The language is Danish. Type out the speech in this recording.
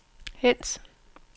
hent